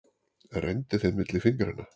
Renndi þeim milli fingranna.